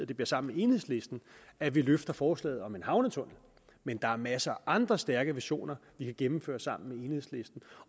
det bliver sammen med enhedslisten at vi løfter forslaget om en havnetunnel men der er masser af andre stærke visioner vi kan gennemføre sammen med enhedslisten